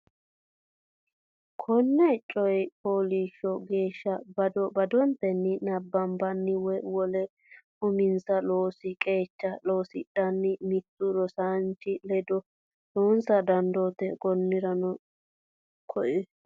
Konneno coy fooliishsho geeshsha bado badotenni nabbabbanna woy wole uminsa loosi qeecha loosidhanna mittu rosaanchi ledo loosa dandaatto Konneno Konneno.